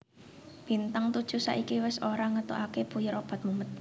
Bintang Todjoeh saiki wes ora ngetokake puyer obat mumet